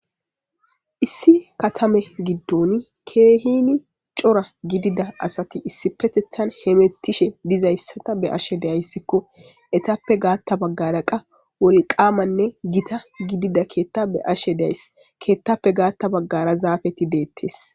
Issi katame giddon keehini coora gidida asati issi petethan hemettishe dizayssata be ashe deyayssikko etappe gaatta baggara qa woliqaamanne gita gidida keetta be ashe days keettappe gaatta baggara zaafeti deettes